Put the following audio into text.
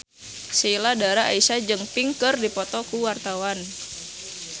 Sheila Dara Aisha jeung Pink keur dipoto ku wartawan